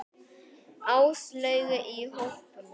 Áslaugu í hópnum.